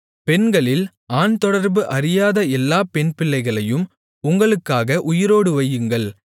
பெண்களில் ஆண்தொடர்பு அறியாத எல்லாப் பெண்பிள்ளைகளையும் உங்களுக்காக உயிரோடு வையுங்கள்